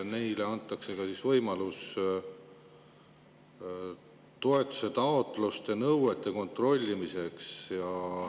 Neile antakse ka võimalus kontrollida toetusetaotluste vastavust nõuetele.